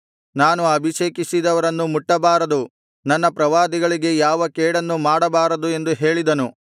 ನಾನು ಅಭಿಷೇಕಿಸಿದವರನ್ನು ಮುಟ್ಟಬಾರದು ನನ್ನ ಪ್ರವಾದಿಗಳಿಗೆ ಯಾವ ಕೇಡನ್ನು ಮಾಡಬಾರದು ಎಂದು ಹೇಳಿದನು